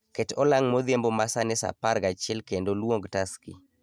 Ket olang' modhiambo ma sani saa apar gachiel kendo luong taxi